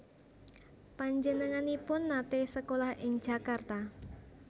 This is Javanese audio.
Panjenenganipun naté sekolah ing Jakarta